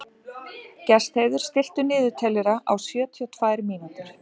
Gestheiður, stilltu niðurteljara á sjötíu og tvær mínútur.